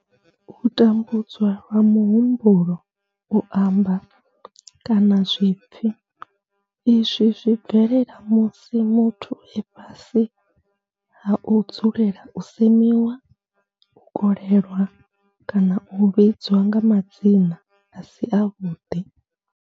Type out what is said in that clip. U tambudzwa lwa muhumbulo, u amba, kana zwipfi izwi zwi bvelela musi muthu e fhasi ha u dzulela u semiwa, u kolelwa kana u vhidzwa nga madzina a si avhuḓi.